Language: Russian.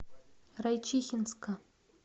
райчихинска